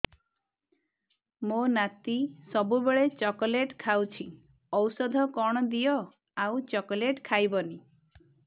ମୋ ନାତି ସବୁବେଳେ ଚକଲେଟ ଖାଉଛି ଔଷଧ କଣ ଦିଅ ଆଉ ଚକଲେଟ ଖାଇବନି